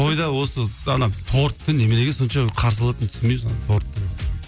тойда осы ана тортты неменеге сонша қарсы алатынын түсінбеймін соның торттың